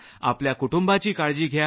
आपल्या कुटुंबाची काळजी घ्या